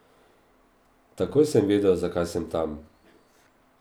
Takoj sem vedel, zakaj sem tam.